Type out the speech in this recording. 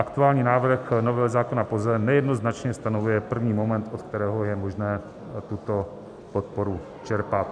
Aktuální návrh novely zákona POZE nejednoznačně stanovuje první moment, od kterého je možné tuto podporu čerpat.